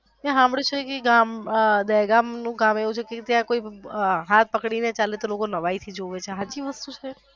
મેં સાંભળ્યું છે કે ગામ એ દહેગામ નું ગામ એવું છે કે જ્યાં કોઈ હાથ પકડી ને ચાલે તો લોકો નવાઈ થી જોવે છે એ સાચી વસ્તુ છે.